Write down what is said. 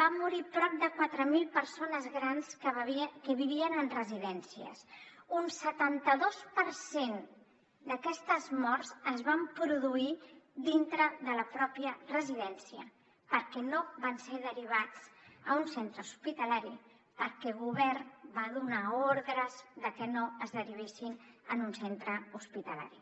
van morir prop de quatre mil persones grans que vivien en residències un setanta dos per cent d’aquestes morts es van produir dintre de la pròpia residència perquè no van ser derivats a un centre hospitalari perquè el govern va donar ordres de que no es derivessin a un centre hospitalari